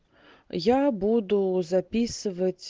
я буду записывать